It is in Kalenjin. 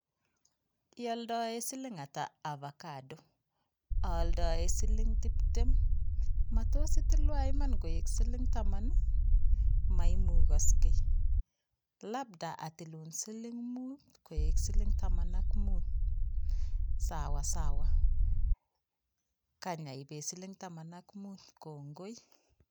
Ialdoe siling ata Avacado, aldoe siling tiptem, matos itilwa iman koek siling taman ii? maimukoske labda atilun siling mut koek siling taman ak mut, sawasawa kany aibe siling taman ak muut kongoi.